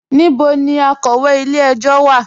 Níbọ̀ ni akọwé ilẹ̀-ẹ̀jọ̀ wa?